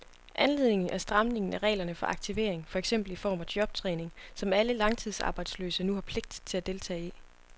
Anledningen er stramningen af reglerne for aktivering, for eksempel i form af jobtræning, som alle langtidsarbejdsløse nu har pligt til at deltage i.